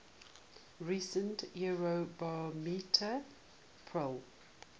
recent eurobarometer poll